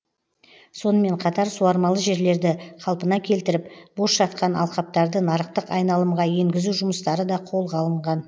сонымен қатар суармалы жерлерді қалпына келтіріп бос жатқан алқаптарды нарықтық айналымға енгізу жұмыстары да қолға алынған